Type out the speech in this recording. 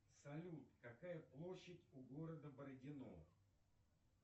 салют какая площадь у города бородино